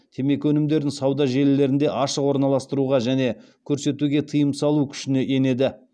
темекі өнімдерін сауда желілерінде ашық орналастыруға және көрсетуге тыйым салу күшіне енеді